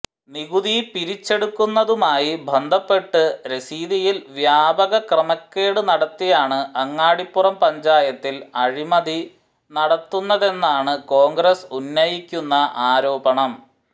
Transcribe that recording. നികുതി പിരിച്ചെടുക്കുന്നതുമായി ബന്ധപ്പെട്ട് രസീതിയിൽ വ്യാപക ക്രമക്കേടു നടത്തിയാണ് അങ്ങാടിപ്പുറം പഞ്ചായത്തിൽ അഴിമതി നടത്തുന്നതെന്നാണ് കോൺഗ്രസ് ഉന്നയിക്കുന്ന ആരോപണം